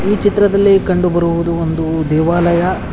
ಈ ಚಿತ್ರದಲ್ಲಿ ಕಂಡುಬರುವುದು ಒಂದು ದೇವಾಲಯ.